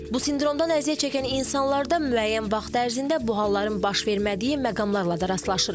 Bu sindromdan əziyyət çəkən insanlarda müəyyən vaxt ərzində bu halların baş vermədiyi məqamlarla da rastlaşırıq.